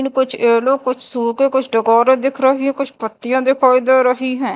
कुछ येलो कुछ शू पे कुछ डेकोरे दिख रही है कुछ पत्तियाँ दिखाई दे रही है।